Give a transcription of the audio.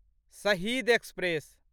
शहीद एक्सप्रेस